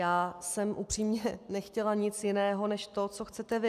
Já jsem upřímně nechtěla nic jiného než to, co chcete vy.